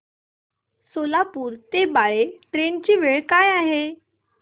सोलापूर ते बाळे ट्रेन ची वेळ काय आहे